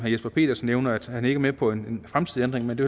jesper petersen nævnte at han ikke er med på en fremtidig ændring men det